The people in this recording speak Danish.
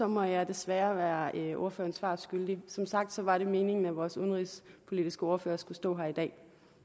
må jeg desværre blive ordføreren svar skyldig som sagt var det meningen at vores udenrigspolitiske ordfører skulle stå her i dag